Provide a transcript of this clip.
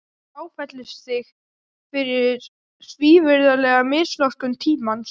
Ég áfellist þig fyrir svívirðilega misnotkun tímans.